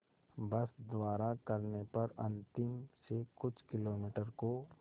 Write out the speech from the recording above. बस द्वारा करने पर अंतिम से कुछ किलोमीटर को